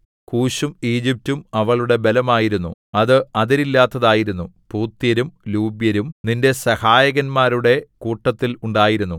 കൂശും ഈജിപ്റ്റും അവളുടെ ബലമായിരുന്നു അത് അതിരില്ലാത്തതായിരുന്നു പൂത്യരും ലൂബ്യരും നിന്റെ സഹായകന്മാരുടെ കൂട്ടത്തിൽ ഉണ്ടായിരുന്നു